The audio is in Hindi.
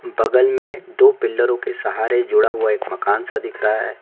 दबे हुए दो पिलहरो के सहारे जुड़ा हुआ एक मकान सा दिख रहा है।